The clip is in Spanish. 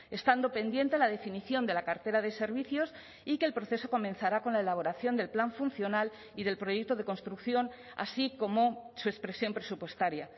estando pendiente la definición de la cartera de servicios y que el proceso comenzará con la elaboración del plan funcional y del proyecto de construcción así como su expresión presupuestaria